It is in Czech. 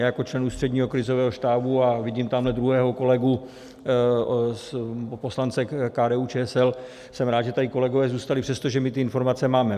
Já jako člen Ústředního krizového štábu, a vidím tamhle druhého kolegu, poslance KDU-ČSL, jsem rád, že tady kolegové zůstali, přestože my ty informace máme.